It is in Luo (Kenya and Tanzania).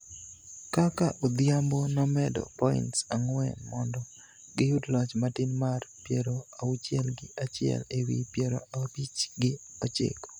kaka Odhiambo nomedo points ang'wen mondo giyud loch matin mar piero auchiel gi achiel ewi piero abich gi ochiko